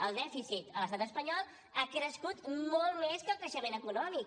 el dèficit a l’estat espanyol ha crescut molt més que el creixement econòmic